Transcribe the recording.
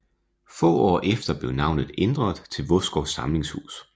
Få år efter blev navnet ændret til Vodskov Samlingshus